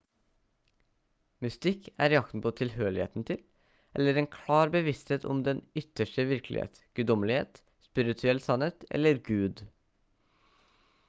mystikk er jakten på tilhørigheten til eller en klar bevissthet om den ytterste virkelighet guddommelighet spirituell sannhet eller gud